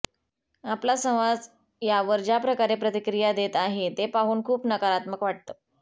आपला समाज यावर ज्या प्रकारे प्रतिक्रिया देत आहे हे पाहून खूप नकारात्मक वाटतं